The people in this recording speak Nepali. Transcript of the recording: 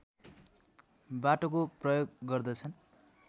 बाटोको प्रयोग गर्दछन्